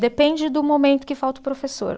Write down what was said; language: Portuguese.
Depende do momento que falta o professor.